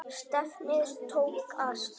Stefnið tók að síga.